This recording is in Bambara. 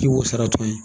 K'i b'o sara tɔn ye